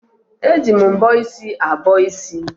Eji mbọ isi abọ isi